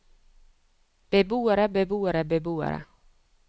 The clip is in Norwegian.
beboere beboere beboere